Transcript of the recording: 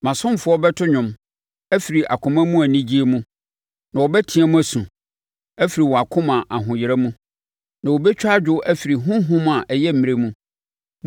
Mʼasomfoɔ bɛto nnwom afiri akoma mu anigyeɛ mu na wɔbɛteam asu afiri wɔn akoma ahoyera mu na wɔbɛtwa adwo afiri honhom a ayɛ mmrɛ mu.